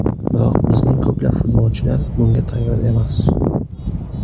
Biroq bizning ko‘plab futbolchilar bunga tayyor emas.